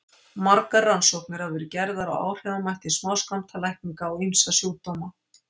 Margar rannsóknir hafa verið gerðar á áhrifamætti smáskammtalækninga á ýmsa sjúkdóma.